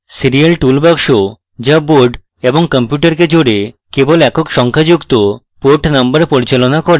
serial tool box the board এবং কম্পিউটারকে জোড়ে কেবল একক সংখ্যাযুক্ত port number পরিচালনা করে